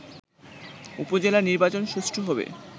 উপজেলা নির্বাচন সুষ্ঠু হবে